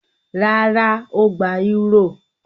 Rárá, ó gba eúrò.